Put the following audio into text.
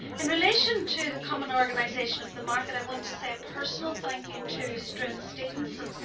In relation to the common organisation of the market, I want to say a personal thank you' to Struan Stevenson.